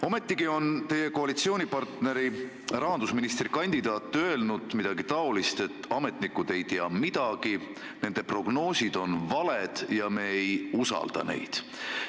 Ometigi on teie koalitsioonipartneri rahandusministrikandidaat öelnud midagi säärast, et ametnikud ei tea midagi, nende prognoosid on valed ja me ei usalda neid.